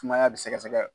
Sumaya bɛ sɛgɛsɛgɛ